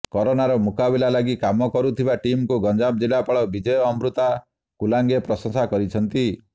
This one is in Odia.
କରୋନାର ମୁକାବିଲା ଲାଗି କାମ କରୁଥିବା ଟିମକୁ ଗଞ୍ଜାମ ଜିଲ୍ଲାପାଳ ବିଜୟ ଅମୃତା କୁଲାଙ୍ଗେ ପ୍ରଶଂସା କରିଛନ୍ତି